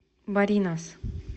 баринас